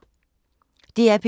DR P2